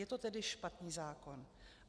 Je to tedy špatný zákon.